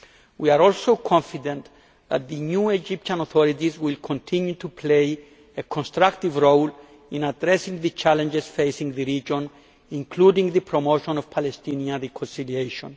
We are also confident that the new Egyptian authorities will continue to play a constructive role in addressing the challenges facing the region, including the promotion of Palestinian reconciliation.